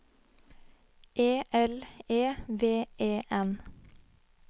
E L E V E N